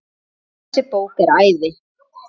Þessi bók er æði.